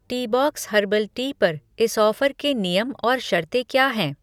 Teabox herbal tea पर इस offer के नियम और शर्तें क्या हैं?